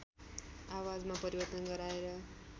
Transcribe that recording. आवाजमा परिवर्तन गराएर